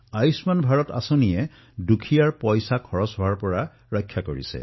আয়ুষ্মান ভাৰত যোজনাই দুখীয়াৰ ধন ব্যয় হোৱাৰ ৰক্ষা কৰিছে